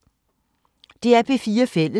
DR P4 Fælles